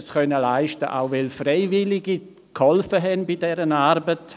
Wir konnten dies auch leisten, weil Freiwillige bei dieser Arbeit geholfen haben.